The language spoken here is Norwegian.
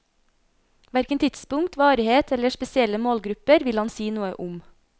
Hverken tidspunkt, varighet eller spesielle målgrupper vil han si noe om.